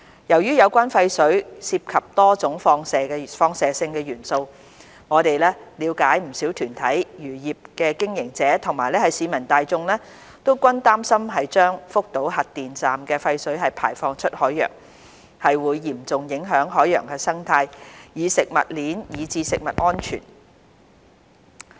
由於有關的廢水涉及多種放射性元素，我們了解不少團體、漁業經營者和市民大眾均擔心將福島核電站的廢水排放出海洋，會嚴重影響海洋生態、食物鏈以至食物安全。